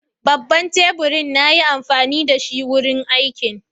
Babban tebur na yi amfani da shi wurin aikin.